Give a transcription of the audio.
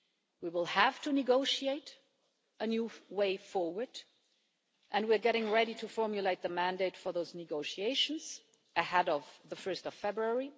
We will have to negotiate a new way forward, and we are getting ready to formulate the mandate for those negotiations ahead of 1 February.